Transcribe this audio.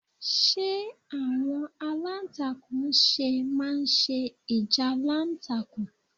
Ṣe awọn alantakun ṣe ma n se ijalantakun?